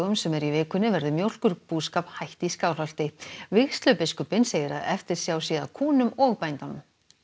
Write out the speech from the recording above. sem eru í vikunni verður mjólkurbúskap hætt í Skálholti vígslubiskup segir að eftirsjá sé að kúnum og bændunum